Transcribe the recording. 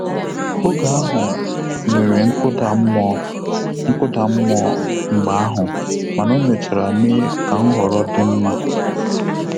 Oge ahụ nwere nkụda mmụọ nkụda mmụọ mgbe ahụ mana o mechara mee ka nhọrọ dị mma